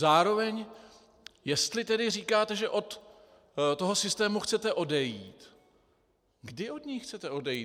Zároveň, jestli tedy říkáte, že od toho systému chcete odejít, kdy od něj chcete odejít?